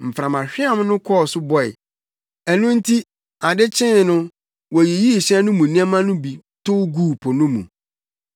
Mframahweam no kɔɔ so bɔe; ɛno nti ade kyee no woyiyii hyɛn no mu nneɛma no bi tow guu po no mu.